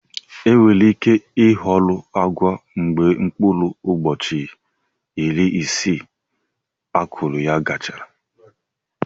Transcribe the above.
Enwere ike ịhọrọ agwa mgbe mkpụrụ ụbọchị iri isii akụrụ ya gachara.